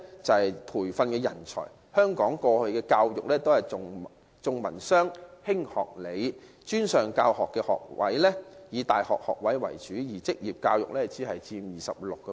在培訓人才方面，香港過去的教育均重文商、輕學理，專上教育學位以大學學位為主，而職業教育只佔 26%。